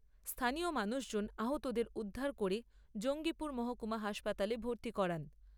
স্থানীয় মানুষজন আহতদের উদ্ধার করে জঙ্গীপুর মহকুমা হাসপাতালে ভর্তি করান।